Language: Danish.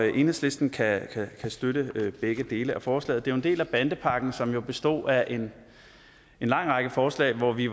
enhedslisten kan støtte begge dele af forslaget det er jo en del af bandepakken som består af en lang række forslag og hvor vi